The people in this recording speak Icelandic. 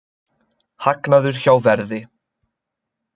Hagnaður hjá Verði